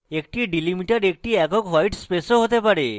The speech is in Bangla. একটি delimiter একটি একক হোয়ায়ট space ও হতে পারে